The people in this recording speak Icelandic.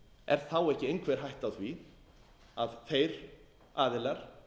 er þá ekki einhver hætta á því að þeir aðilar